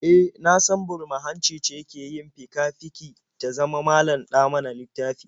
E, na san burma-hanci ce ke yin fika-fiki ta zama malam-ɗa-mana-littafi?